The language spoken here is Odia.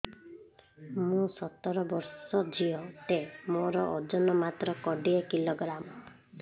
ମୁଁ ସତର ବର୍ଷ ଝିଅ ଟେ ମୋର ଓଜନ ମାତ୍ର କୋଡ଼ିଏ କିଲୋଗ୍ରାମ